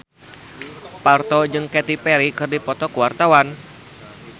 Parto jeung Katy Perry keur dipoto ku wartawan